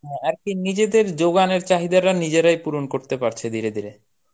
আর কি নিজেদের যোগানের চাহিদাটা নিজেরাই পূরণ করতে পারছে ধীরে ধীরে.